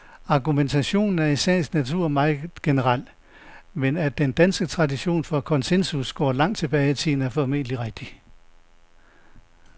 Argumentationen er i sagens natur meget generel, men at den danske tradition for konsensus går langt tilbage i tiden, er formentlig rigtigt.